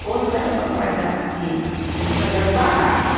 Quando era para guardar, porque tinha que fazer as barraca, né?